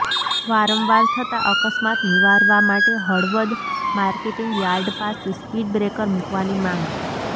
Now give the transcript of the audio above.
વારંવાર થતા અકસ્માત નિવારવા માટે હળવદ માર્કેટીંગ યાર્ડ પાસે સ્પીડ બ્રેકર મુકવાની માંગ